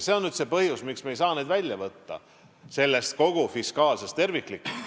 See on põhjus, miks me ei saa seda välja võtta kogu sellest fiskaalsest tervikust.